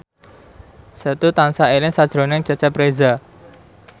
Setu tansah eling sakjroning Cecep Reza